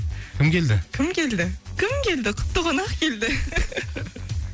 кім келді кім келді кім келді құтты қонақ келді